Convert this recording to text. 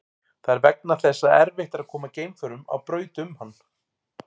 Það er vegna þess að erfitt er að koma geimförum á braut um hann.